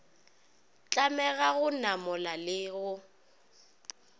tlamega go namola le go